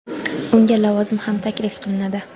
Unga lavozim ham taklif qilinadi.